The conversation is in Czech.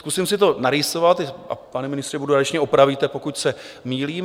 Zkusím si to narýsovat, a pane ministře, budu rád, když mě opravíte, pokud se mýlím.